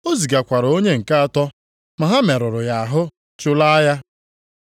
O zigakwara onye nke atọ, ma ha merụrụ ya ahụ, chụlaa ya.